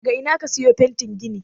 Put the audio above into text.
daga Ina aka siyo fetin gini